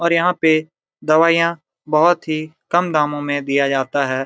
और यहां पे दवाइयां बहुत ही कम दामों में दिया जाता है।